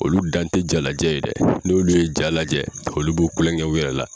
Olu dan te ja lajɛ ye dɛ , n' olu ye ja lajɛ olu b'u kulonkɛ u yɛrɛ la.